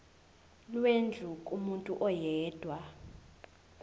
lwendlu kumuntu oyedwa